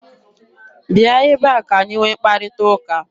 Bia ebe a ka-anyị nwee mkparịta ụka!